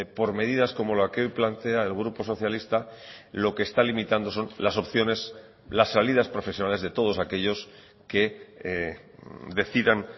por medidas como la que hoy plantea el grupo socialista lo que está limitando son las opciones las salidas profesionales de todos aquellos que decidan